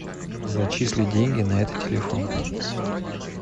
зачисли деньги на этот телефон